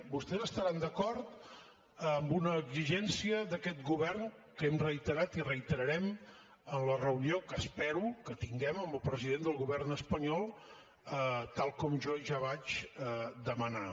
vostès estaran d’acord amb una exigència d’aquest govern que hem reiterat i reiterarem en la reunió que espero que tinguem amb el president del govern espanyol tal com jo ja vaig demanar